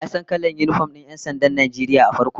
Wa ya san kalan yinifom din 'yan sandan Najeriya a farko?